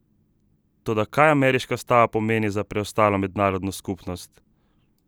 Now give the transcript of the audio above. Toda, kaj ameriška stava pomeni za preostalo mednarodno skupnost?